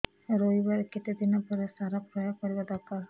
ରୋଈବା ର କେତେ ଦିନ ପରେ ସାର ପ୍ରୋୟାଗ କରିବା ଦରକାର